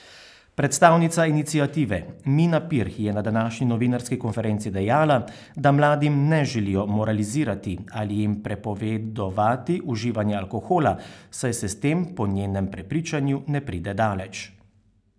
Predstavnica iniciative Mina Pirh je na današnji novinarski konferenci dejala, da mladim ne želijo moralizirati ali jim prepovedovati uživanje alkohola, saj se s tem po njenem prepričanju ne pride daleč.